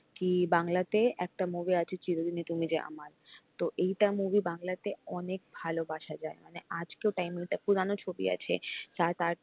কি বাংলাতে একটা মুভি আছে চিরো দিনি তুমি যে আমার তো এইটা movie বাংলা তে অনেক ভালোবাসা যায় মনে আজকেও time এ পুরানো ছবি আছে চার পাঁচ